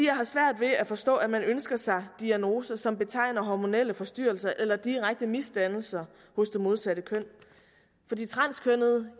har svært ved at forstå at man ønsker sig diagnose som betegner hormonelle forstyrrelser eller direkte misdannelser hos det modsatte køn for de transkønnede